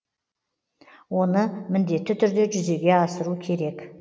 оны міндетті түрде жүзеге асыру керек